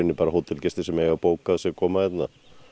bara hótelgestir sem að eiga bókað sem að koma hérna